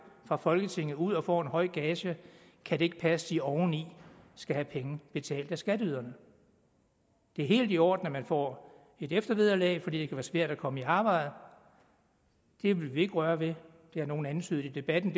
fra folketinget ud og får en høj gage kan det ikke passe at de oven i skal have penge betalt af skatteyderne det er helt i orden at man får et eftervederlag fordi det kan være svært at komme i arbejde det vil vi ikke røre ved det har nogle antydet i debatten